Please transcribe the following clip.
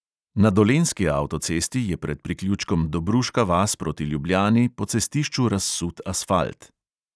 Na dolenjski avtocesti je pred priključkom dobruška vas proti ljubljani po cestišču razsut asfalt.